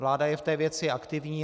Vláda je v té věci aktivní.